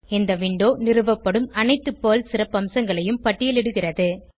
இந்த விண்டோ நிறுவப்படும் அனைத்து பெர்ல் சிறப்பம்சங்களையும் பட்டியலிடுகிறது